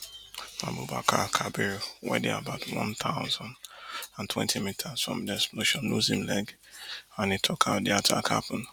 abubakar kabiru wey dey about one thousand and twenty meters from di explosion lose him leg and e tok how di attack happun